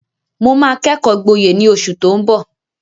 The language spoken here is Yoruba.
Mo máa kẹ́kọ̀ọ́ gboyè ní oṣù tó ń bọ̀.